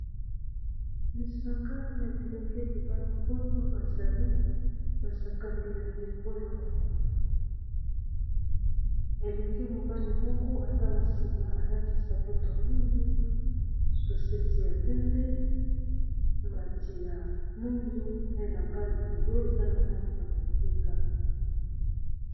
lisanga ya bilenge mibali oyo bazali basakani ya ndembo ya makomi elenge mibali moko eza na nsima alati sapatoa mwindu soseti ya pembe mbati ya muindu pe na mbale kolo eza na nangi ya bondinga